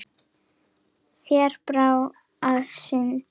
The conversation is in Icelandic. Þeir þrá að syndga.